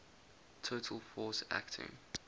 total force acting